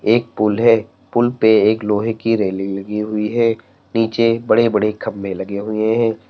एक पूल है पूल पे एक लोहे की रेलिंग लगी हुई है नीचे बड़े बड़े खंबे लगे हुए हैं।